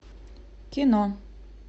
кино